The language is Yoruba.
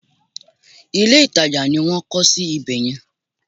Ilé ìtajà ni wọ́n ń kọ́ sí ibè yẹn.